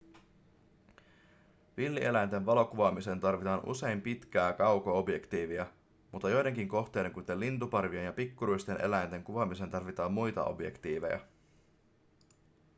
villieläinten valokuvaamiseen tarvitaan usein pitkää kauko-objektiivia mutta joidenkin kohteiden kuten lintuparvien ja pikkuruisten eläinten kuvaamiseen tarvitaan muita objektiiveja